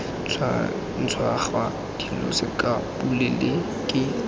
tshwantshangwa dilo sekao pule ke